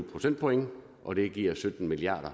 procentpoint og det giver sytten milliard